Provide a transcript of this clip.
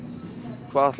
hvað ætlarðu